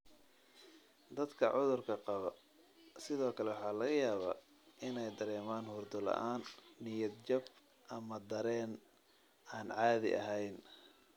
Dadka cudurka qaba sidoo kale waxaa laga yaabaa inay dareemaan hurdo la'aan, niyad-jab, ama dareen aan caadi ahayn.